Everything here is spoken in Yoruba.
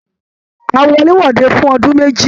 A wọ̀lèwọ̀de fún ọdún méjì.